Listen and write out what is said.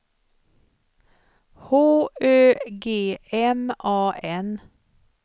H Ö G M A N